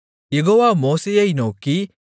யெகோவா மோசேயை நோக்கி